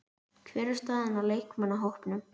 Hver er staðan á leikmannahópnum?